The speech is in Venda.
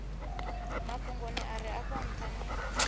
mafhungoni are afho ntha ni